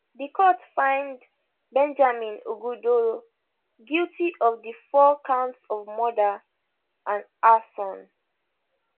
di court find benjamin ogudoro guilty of di four counts of murder and arson